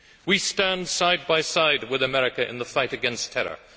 We stand side by side with America in the fight against terror